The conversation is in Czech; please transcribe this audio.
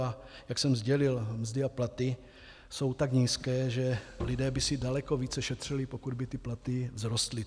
A jak jsem sdělil, mzdy a platy jsou tak nízké, že lidé by si daleko více šetřili, pokud by ty platy vzrostly.